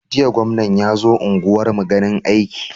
Jiya gwamna yazo unguwar mu ganin aiki